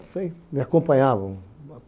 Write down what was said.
Não sei, me acompanhavam.